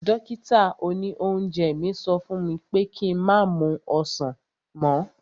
Dókítà òní oúnjẹ mi sọ fún mi pé ki má mu ọsàn mọ́